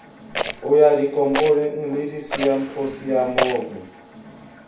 ho ya dikopanong le disimphosiamong